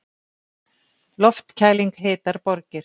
Loftkæling hitar borgir